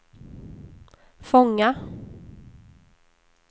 fångar